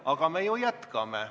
Aga me ju jätkame.